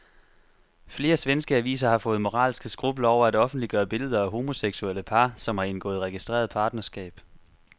Flere svenske aviser har fået moralske skrupler over at offentliggøre billeder af homoseksuelle par, som har indgået registreret partnerskab.